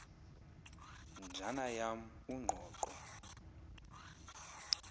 njana yam ungqoqo